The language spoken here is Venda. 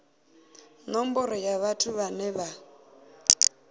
nomboro ya vhathu vhane vha